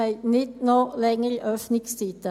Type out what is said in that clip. Wir wollen nicht noch längere Öffnungszeiten.